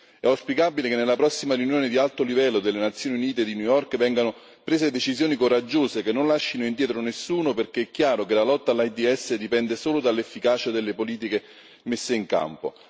È auspicabile che nella prossima riunione di alto livello delle Nazioni Unite di New York vengano prese decisioni coraggiose che non lascino indietro nessuno, perché è chiaro che la lotta all'AIDS dipende solo dall'efficacia delle politiche messe in campo.